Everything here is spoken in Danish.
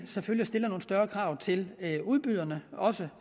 selvfølgelig stiller nogle større krav til udbyderne om også